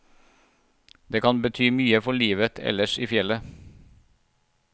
Det kan bety mye for livet ellers i fjellet.